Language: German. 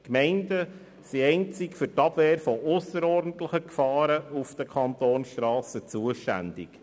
Die Gemeinden sind einzig für die Abwehr von ausserordentlichen Gefahren auf den Kantonsstrassen zuständig.